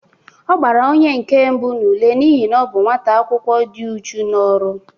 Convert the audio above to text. Ọ gbara onyenke mbụ n'ule n'ihi na ọ bụ nwata akwụkwọ dị uchu n'ọru